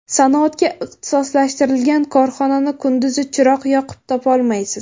Sanoatga ixtisoslashtirilgan korxonani kunduzi chiroq yoqib topolmaysiz.